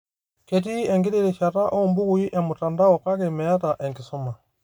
Ketii enkiti rishata oombukui emtandao kake meeta enkisuma